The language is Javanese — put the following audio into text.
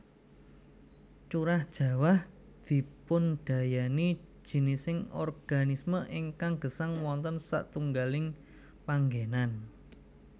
Curah jawah dipundayani jinising organisme ingkang gesang wonten satunggaling panggènan